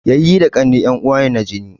Yayyi da ƙannai en uwa ne na jini